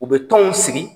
U bɛ tɔnw sigi